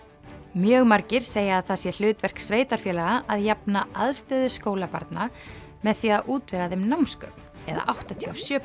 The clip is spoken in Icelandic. mjög margir segja að það sé hlutverk sveitarfélaga að jafna aðstöðu skólabarna með því að útvega þeim námsgögn eða áttatíu og sjö